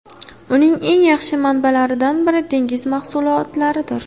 Uning eng yaxshi manbalaridan biri dengiz mahsulotlaridir.